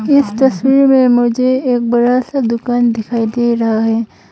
इस तस्वीर में मुझे एक बड़ा सा दुकान दिखाई दे रहा है।